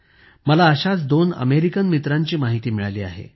मला अशाच दोन अमेरिकन मित्रांची माहिती मिळाली आहे